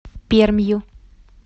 пермью